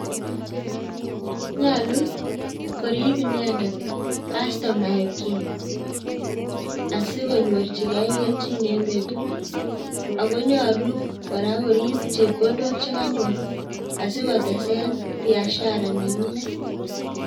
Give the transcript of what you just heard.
Nyolu koriib inendet kastomaeikchik asikonyorchigei kelchiin en betut, ak nyolu koriib koraa chepkondok chekonyoor asikotesen biashara nenyinet